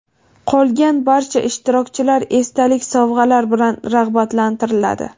Qolgan barcha ishtirokchilar esdalik sovg‘alar bilan rag‘batlantiriladi.